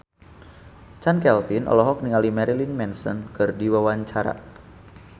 Chand Kelvin olohok ningali Marilyn Manson keur diwawancara